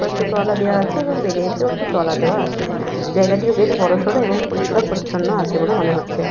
কয়েকটি তলা দেওয়া আছে এবং বেডেতেও একটি তোলা দেওয়া আছে। জায়গাটি বেশ বড়-সড় এবং পরিস্কার পরিচ্ছন্ন আছে বলে মনে হচ্ছে।